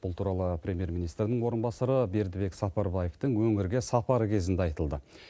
бұл туралы премьер министрінің орынбасары бердібек сапарбаевтың өңірге сапары кезінде айтылды